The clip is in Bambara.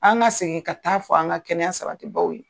An ga segin ka taa fɔ an ka kɛnɛya sabati baw ye.